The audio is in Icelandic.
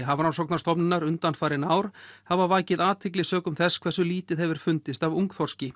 Hafrannsóknarstofnunar undanfarin ár hafa vakið athygli sökum þess hversu lítið hefur fundist af ungþorski